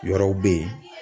Yɔrɔw be yen.